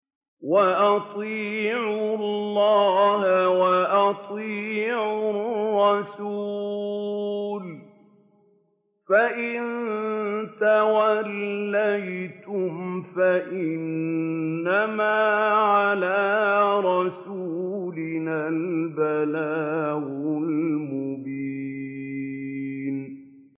وَأَطِيعُوا اللَّهَ وَأَطِيعُوا الرَّسُولَ ۚ فَإِن تَوَلَّيْتُمْ فَإِنَّمَا عَلَىٰ رَسُولِنَا الْبَلَاغُ الْمُبِينُ